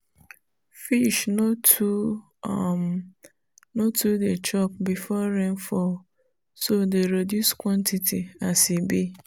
fish no dey too um chop before rainfall so dey reduce quantity as e be